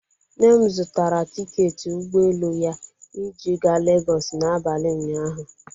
Nne m zụtara tiketi ụgbọelu ya iji gaa Legọsị n'abalị ụnyaahụ.